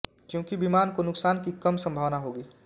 क्यूकी विमान को नुकसान की कम संभावना होगी